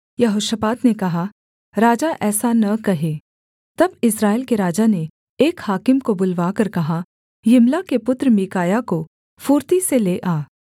यहोशापात ने कहा राजा ऐसा न कहे तब इस्राएल के राजा ने एक हाकिम को बुलवाकर कहा यिम्ला के पुत्र मीकायाह को फुर्ती से ले आ